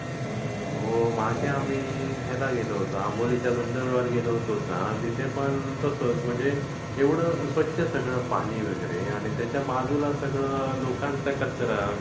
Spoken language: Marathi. मागे आम्ही ह्याला गेलो होतो. अंबोलीच्या धबधब्यावर गेलो होतो ना तिथे पण तसंच. म्हणजे एवढं स्वच्छ सगळं पाणी वगैरे आणि त्याच्या बाजूला सगळं लोकांचा कचरा.